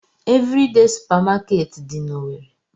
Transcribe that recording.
Evridee supamakeeti dị n'Owerre.